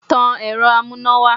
Tan ẹ̀rọ amúnáwá!